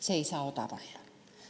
See ei saa odav olla.